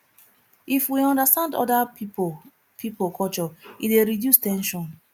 if we understand oda pipo pipo culture e dey reduce ten sion